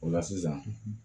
O la sisan